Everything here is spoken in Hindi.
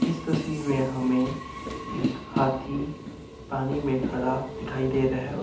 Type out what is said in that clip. इस तस्वीर में हमें एक हाथी पानी में खड़ा दिखाई दे रहा है।